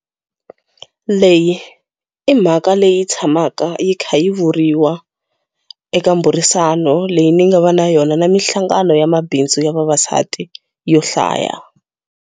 Leyi i mhaka leyi tshamaka yi kha yi vuriwa eka miburisano leyi ni ngava na yona na minhlangano ya mabindzu ya vavasati yo hlaya.